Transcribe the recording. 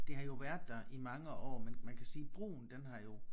Det har jo været der i mange år men man kan sige brugen den har jo